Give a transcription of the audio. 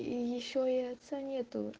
и ещё и отца нету